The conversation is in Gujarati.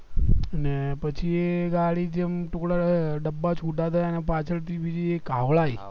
ને પછી એ ગાડી જેમ ડબ્બા છુટા કર્યા અને પાછળથી બીજી એક હાવડા આયી